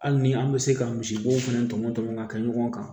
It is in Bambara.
Hali ni an bɛ se ka misibo fana tɔmɔ tɔmɔ ka kɛ ɲɔgɔn kan